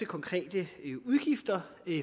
konkrete udgifter